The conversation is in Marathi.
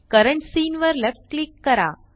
करंट सीन वर लेफ्ट क्लिक करा